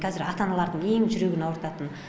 қазір ата аналардың ең жүрегін ауыртатын